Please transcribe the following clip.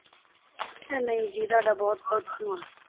ਨਹੀਂ ਜੀ ਤੁਹਾਡਾ ਬਹੁਤ ਬਹੁਤ ਧੰਨਵਾਦ।